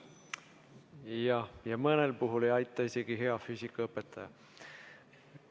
Jah, ja mõnel puhul ei aita isegi hea füüsikaõpetaja.